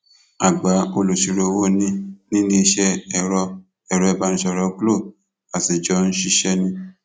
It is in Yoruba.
àgbà olùṣirò owó ni níléeṣẹ ẹrọ ẹrọ ìbánisọrọ glo a sì jọ ń ṣiṣẹ ni